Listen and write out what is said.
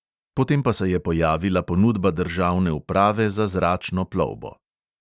Potem pa se je pojavila ponudba državne uprave za zračno plovbo.